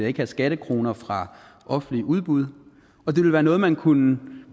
ikke have skattekroner fra offentlige udbud og det ville være noget man kunne